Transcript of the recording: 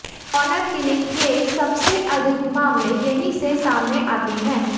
honour killing के सबसे अधिक मामले यहीं से सामने आते हैं